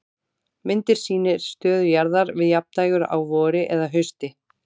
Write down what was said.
Myndin sýnir stöðu jarðar við jafndægur á vori eða hausti.